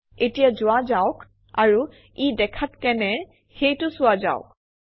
এতিয়া যোৱা যাওক আৰু ই দেখাত কেনে সেইটো চোৱা যাওক